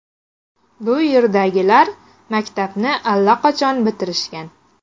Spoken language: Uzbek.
Bu yerdagilar maktabni allaqachon bitirishgan.